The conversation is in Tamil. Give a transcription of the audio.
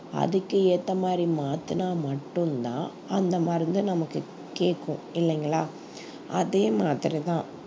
அதுக்கு ஏத்த மாதிரி மாத்துனா மட்டும்தான் அந்த மருந்து நமக்கு கேக்கும் இல்லைங்களா அதே மாதிரிதான்